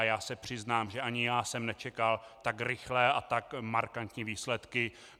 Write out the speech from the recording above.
A já se přiznám, že ani já jsem nečekal tak rychlé a tak markantní výsledky.